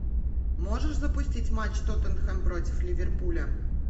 можешь запустить матч тоттенхэм против ливерпуля